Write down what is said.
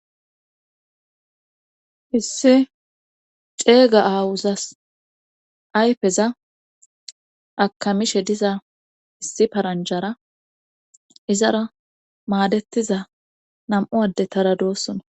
Issi ceega aawuzas ayfeza akamishe diza issi paranjara izara maadettiza nam7u adde tara doossona.